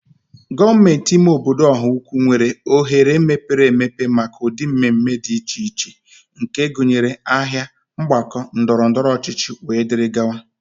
Gọọmenti ime obodo Ọhaukwu nwere oghere mepere emepe maka ụdị mmemme dị iche iche nke gụnyere: Ahịa, Mgbakọ ndọrọ ndọrọ ọchịchị, wdg.